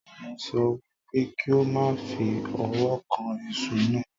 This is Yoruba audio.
Mo sọ wípé kí o má fi ọwọ́ kan iṣu náà